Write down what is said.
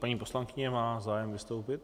Paní poslankyně má zájem vystoupit.